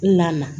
N na na